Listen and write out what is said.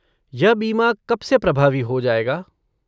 यह बीमा कब से प्रभावी हो जाएगा?